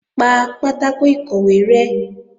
Pa pátákò ìkọ̀wé rẹ́!